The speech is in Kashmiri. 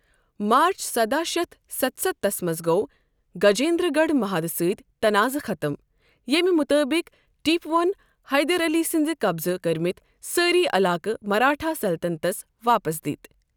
مارٕچ سداہ شٮ۪تھ ستستھس منٛز گوٚو گجیندر گڑھ محادٕ سۭتۍ تناضہٕ ختٕم، ییٚمہِ مُطٲبق ٹیپوہن حیدر علی سٕندِ قبضہٕ کٔرمٕتۍ سٲری علاقہٕ مرہٹھا سلطنتس واپس دِتۍ۔